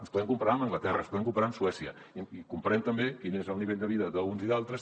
ens podem comparar amb anglaterra ens podem comparar amb suècia i comparem també quin és el nivell de vida d’uns i d’altres